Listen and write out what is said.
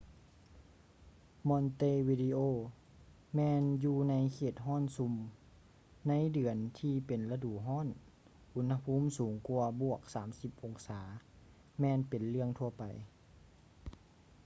montevideo ແມ່ນຢູ່ໃນເຂດຮ້ອນຊຸ່ມ ໃນເດືອນທີ່ເປັນລະດູຮ້ອນອຸນຫະພູມສູງກວ່າ + 30 ອົງສາ ແມ່ນເປັນເລື່ອງທົ່ວໄປ